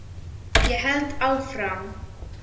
Ég held áfram.